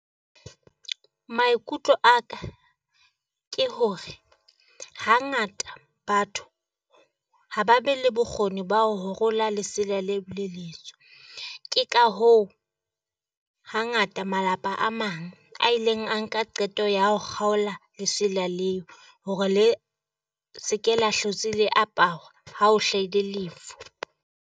Maikutlo a ka ke hore hangata batho ha ba be le bokgoni ba ho rola lesele le le letsho, ke ka hoo hangata malapa a mang a ileng a nka qeto ya ho kgaola lesela leo hore le senke la hlotse le aparwa ha o hlahile lefu.